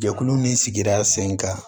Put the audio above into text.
Jɛkulu ni sigida sen kan